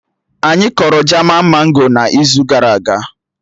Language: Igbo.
Anyị kọrọ jaman mango n'izu gara aga